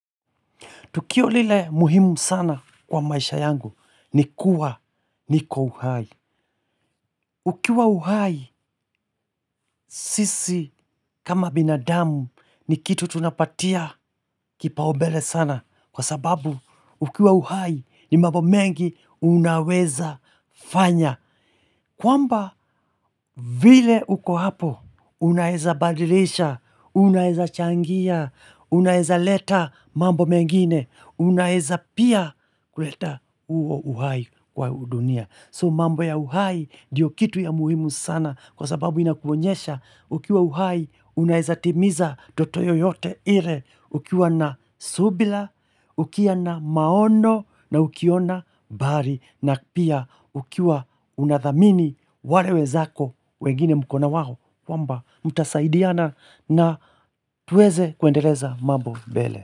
Tukio lile muhimu sana kwa maisha yangu ni kuwa niko uhai. Ukiwa uhai sisi kama binadamu ni kitu tunapatia kipaubele sana. Kwa sababu ukiwa uhai ni mambo mengi unaweza fanya. Kwamba vile uko hapo unaeza badilisha, unaeza changia, unaeza leta mambo mengine, unaeza pia kuleta huo uhai. Kwa dunia. So mambo ya uhai ndiyo kitu ya muhimu sana kwa sababu inakuonyesha ukiwa uhai unaezatimiza ndoto yoyote ile ukiwa na subira, ukiwa na maono na ukiona mbali na pia ukiwa unathamini wale wezako wengine mkona wao kwamba mtasaidiana na tuweze kuendeleza mambo mbele.